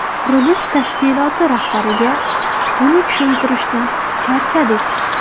Qurilish tashkiloti rahbariga buni tushuntirishdan charchadik.